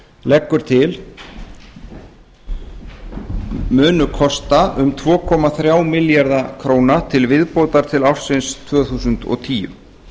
leggur til munu kosta um tvö komma þrjá milljarða króna til viðbótar til ársins tvö þúsund og tíu